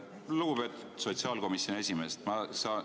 Lugupeetud sotsiaalkomisjoni esimees!